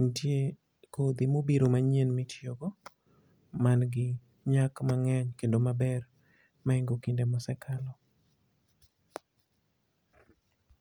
nitie kodhi mobiro manyien mitiyo go, ma nigi nyak mangény kendo maber mahingo kinde ma osekalo.